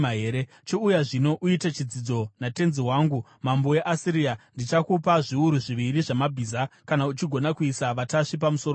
“ ‘Chiuya zvino, uite chitsidzo natenzi wangu, mambo weAsiria. Ndichakupa zviuru zviviri zvamabhiza, kana uchigona kuisa vatasvi pamusoro pawo!